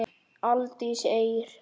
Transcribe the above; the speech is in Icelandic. Aldís Eir.